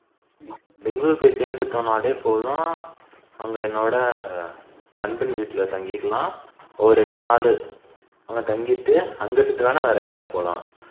பெங்களூர் போய் சேர்ந்துட்டோம்னாலே போதும் அங்க என்னோட நண்பர்கள் வீட்டுல தங்கிக்கலாம் ஒரு இரண்டு நாளு தங்கிட்டு அங்க இருந்து வேணா வேர எங்கயாவது போலாம்